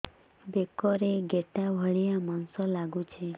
ବେକରେ ଗେଟା ଭଳିଆ ମାଂସ ଲାଗୁଚି